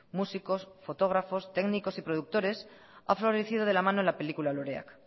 músicos fotógrafos técnicos y productores ha florecido de la mano de la película loreak